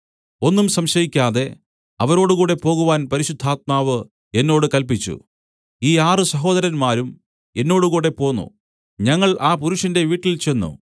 ഒന്നും സംശയിക്കാതെ അവരോടുകൂടെ പോകുവാൻ പരിശുദ്ധാത്മാവ് എന്നോട് കല്പിച്ചു ഈ ആറ് സഹോദരന്മാരും എന്നോടുകൂടെ പോന്നു ഞങ്ങൾ ആ പുരുഷന്റെ വീട്ടിൽചെന്ന്